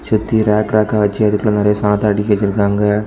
சுத்தி ராக் ராக்கா வச்சு அதுக்குள்ள நெறைய சாதன அடுக்கி வெச்சுருக்காங்க.